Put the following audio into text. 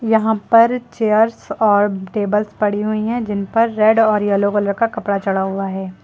यहां पर चेयर्स और टेबल्स पड़ी हुई है जिन पर रेड और येलो कलर का कपड़ा चढ़ा हुआ है।